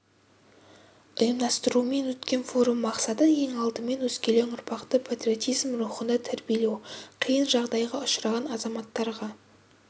ұйымдастыруымен өткен форум мақсаты ең алдымен өскелең ұрпақты патриотизм рухында тәрбиелеу қиын жағдайға ұшыраған азаматтарға